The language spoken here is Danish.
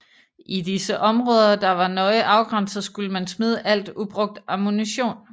I disse områder der var nøje afgrænset skulle man smide alt ubrugt ammunition